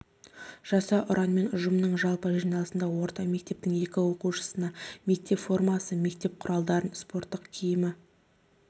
жаса ұранымен ұжымның жалпы жиналысында орта мектебінің екі оқушысына мектеп формасын мектеп құралдарын спорт киімі